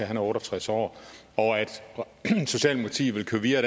er otte og tres år og at socialdemokratiet vil køre videre